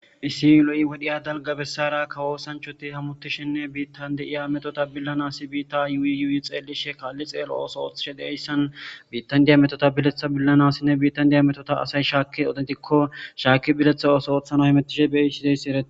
Issi lo7i wodhiya dalGga bessaara kawo Oosanchoti hamutishinne biittan de7iya metota billanasi biitta yuuyyuui xeelishe kaalli xeelo ooso ooththishe deyssan biittan diya metota biletha billanasinne biittan diya metota asay shaakki aotentikko shaaki biletha ooso oothana hemetishe beiichi deyssi eree.